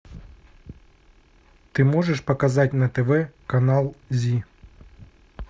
ты можешь показать на тв канал зи